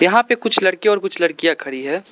वहां पे कुछ लड़के और कुछ लड़कियां खड़ी हैं।